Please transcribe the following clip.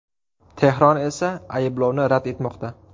Tehron esa ayblovni rad etmoqda.